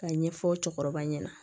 Ka ɲɛfɔ cɛkɔrɔba ɲɛna